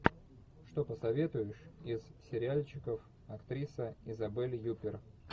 что посоветуешь из сериальчиков актриса изабель юппер